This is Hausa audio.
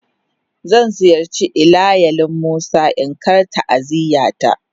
Zan ziyarce ilayalin musa in Kar ta'aziyya ta.